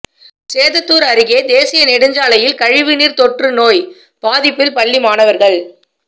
சேததூா் அருகே தேசிய நெடுஞ்சாலையில் கழிவு நீா் தொற்று நோய் பாதிப்பில் பள்ளி மாணவா்கள்